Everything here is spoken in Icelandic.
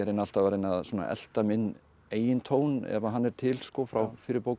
alltaf að reyna að elta minn eigin tón ef hann er til frá fyrri bókum